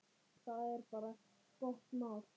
Það er bara gott mál.